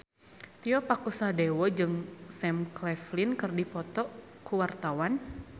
Tio Pakusadewo jeung Sam Claflin keur dipoto ku wartawan